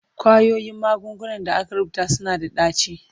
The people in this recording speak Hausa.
Ƙwayoyin magungunan da aka rubuta suna da ɗaci.